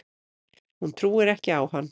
Hún trúir ekki á hann.